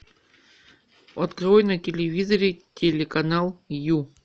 открой на телевизоре телеканал ю